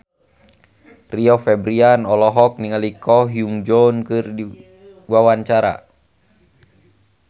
Rio Febrian olohok ningali Ko Hyun Jung keur diwawancara